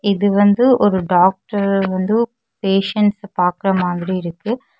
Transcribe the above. இது வந்து ஒரு டாக்டர் வந்து பேசன்ஸ பாக்குற மாதிரி இருக்கு.